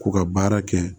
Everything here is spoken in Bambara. K'u ka baara kɛ